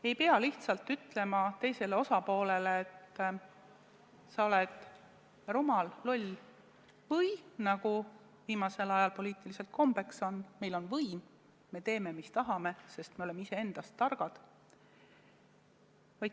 Ei pea lihtsalt ütlema teisele osapoolele, et sa oled rumal, loll või nagu viimasel ajal poliitikas kombeks on, et meil on võim, me teeme, mis tahame, sest me oleme iseendast targad.